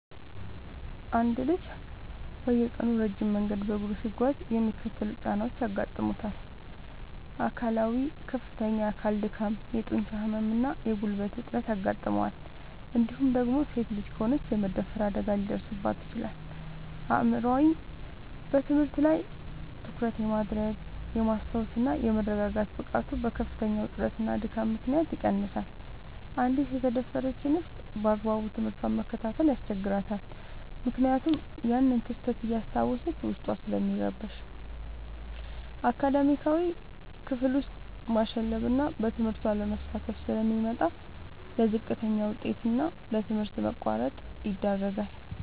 አንድ ልጅ በየቀኑ ረጅም መንገድ በእግሩ ሲጓዝ የሚከተሉት ጫናዎች ያጋጥሙታል፦ አካላዊ፦ ከፍተኛ የአካል ድካም፣ የጡንቻ ህመም እና የጉልበት እጥረት ያጋጥመዋል እንዲሁም ደግሞ ሴት ልጅ ከሆነች የመደፈር አደጋ ሊደርስባት ይችላል። አእምሯዊ፦ በትምህርት ላይ ትኩረት የማድረግ፣ የማስታወስ እና የመረጋጋት ብቃቱ በከፍተኛ ውጥረትና ድካም ምክንያት ይቀንሳል: አንዲት የተደፈረች እንስት ባግባቡ ትምህርቷን መከታተል ያስቸግራታል ምክንያቱም ያንን ክስተት እያስታወሰች ዉስጧ ስለሚረበሽ። አካዳሚያዊ፦ ክፍል ውስጥ ማሸለብና በትምህርቱ አለመሳተፍ ስለሚመጣ: ለዝቅተኛ ውጤት እና ለትምህርት ማቋረጥ ይዳረጋል።